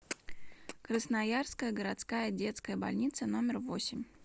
красноярская городская детская больница номер восемь